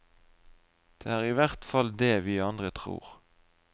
Det er i hvert fall det vi andre tror.